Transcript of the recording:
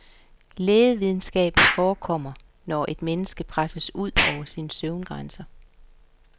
Lægevidenskaben forekommer, når et menneske presses ud over sin søvngrænse.